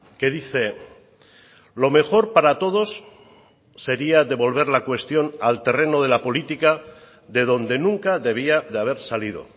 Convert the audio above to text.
que dice lo mejor para todos sería devolver la cuestión al terreno de la política de donde nunca debía de haber salido